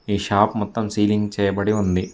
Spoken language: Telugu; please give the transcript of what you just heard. ఈ షాప్ మొత్తం సీలింగ్ చేయబడి ఉంది.